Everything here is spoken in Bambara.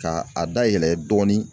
K'a a dayɛlɛ dɔɔni.